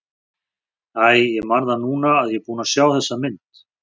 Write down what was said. Æi, ég man það núna að ég er búinn að sjá þessa mynd.